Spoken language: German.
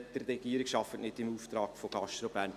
Die Regierung arbeitet nicht im Auftrag von GastroBern.